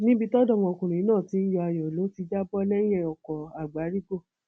níbi tí ọdọmọkùnrin náà ti ń yọ ayọ yìí ló ti já bọ lẹyìn ọkọ àgbárígò